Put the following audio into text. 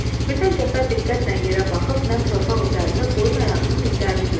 Birdən Cəfər diqqətlə yerə baxıb nəm torpaq üzərində qoyun ayağının izlərini gördü.